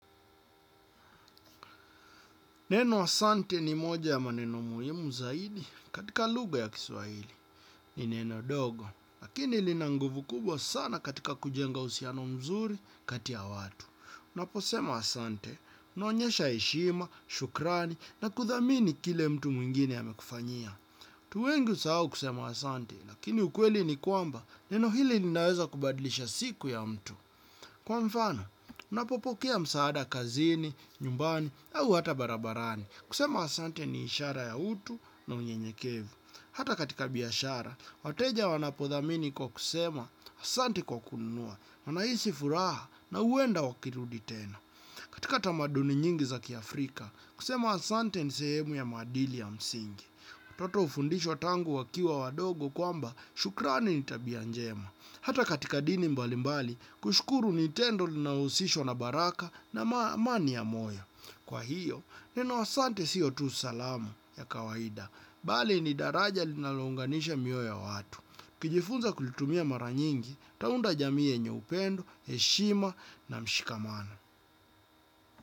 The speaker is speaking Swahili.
Neno asante ni moja ya maneno muhimu zaidi katika lugha ya kiswahili. Ni neno dogo, lakini linanguvu kubwa sana katika kujenga uhusiano mzuri kati ya watu. Unaposema asante, unaonyesha heshima, shukrani na kuthamini kile mtu mwingine amekufanyia. Watu wengi husahau kusema asante, lakini ukweli ni kwamba neno hili linaweza kubadlisha siku ya mtu. Kwa mfano, unapopokea msaada kazini, nyumbani, au hata barabarani, kusema asante ni ishara ya utu na unyenyekevu. Hata katika biashara, wateja wanapodhamini kwa kusema, asante kwa kununua, wanahisi furaha na huenda wakirudi tena. Katika tamaduni nyingi za kiafrika, kusema asante ni sehemu ya maadili ya msingi. Watoto hufundishwa tangu wakiwa wadogo kwamba shukrani ni tabia njema. Hata katika dini mbalimbali, kushukuru ni tendo linalohusishwa na baraka na amani ya moyo. Kwa hiyo, neno asante sio tu salamu ya kawaida. Bali ni daraja linalounganisha mioyo ya watu. Ukijifunza kulitumia mara nyingi, utaunda jamii yenye upendo, heshima na mshikamano.